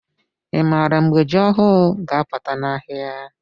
i maara mgbe jị ọhụụ ga- aputa n' ahịa?